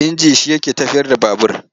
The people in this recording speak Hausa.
Inji shi yake tafiyar da babur.